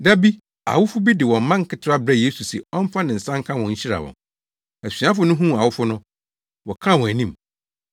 Da bi, awofo bi de wɔn mma nketewa brɛɛ Yesu se ɔmfa ne nsa nka wɔn nhyira wɔn. Asuafo no huu awofo no, wɔkaa wɔn anim.